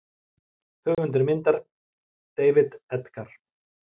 Höfundur myndar: David Edgar.